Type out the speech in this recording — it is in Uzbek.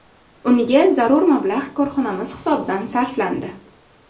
Unga zarur mablag‘ korxonamiz hisobidan sarflandi.